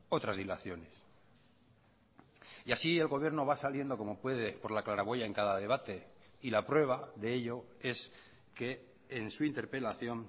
otras dilaciones y así el gobierno va saliendo como puede por la claraboya en cada debate y la prueba de ello es que en su interpelación